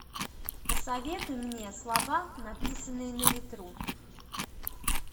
посоветуй мне слова написанные на ветру